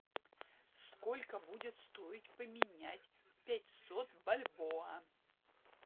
сколько будет стоить поменять пятьсот бальбоа